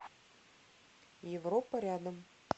европа рядом